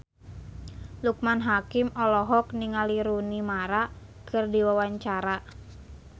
Loekman Hakim olohok ningali Rooney Mara keur diwawancara